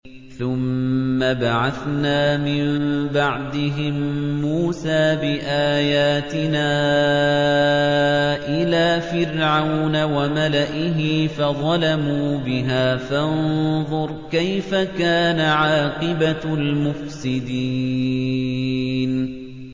ثُمَّ بَعَثْنَا مِن بَعْدِهِم مُّوسَىٰ بِآيَاتِنَا إِلَىٰ فِرْعَوْنَ وَمَلَئِهِ فَظَلَمُوا بِهَا ۖ فَانظُرْ كَيْفَ كَانَ عَاقِبَةُ الْمُفْسِدِينَ